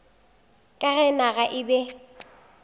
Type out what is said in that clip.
ka ge naga e be